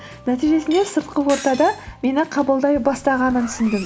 нәтижесінде сыртқы ортада мені қабылдай бастағанын түсіндім